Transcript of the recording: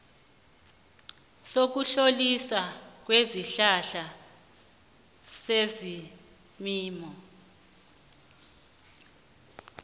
sokutloliswa kwesihlahla sezelimo